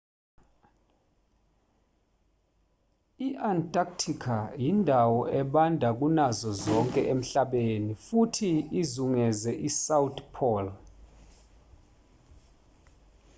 i-antarctica indawo ebanda kunazo zonke emhlabeni futhi izungeze isouth pole